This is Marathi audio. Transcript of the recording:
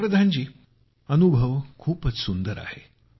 पंतप्रधान जी अनुभव खूपच सुंदर आहे